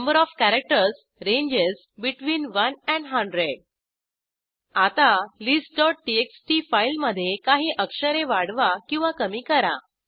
number of characters ranges between one and hundred आता listटीएक्सटी फाईलमधे काही अक्षरे वाढवा किंवा कमी करा